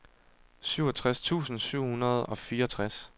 syvogtres tusind syv hundrede og fireogtres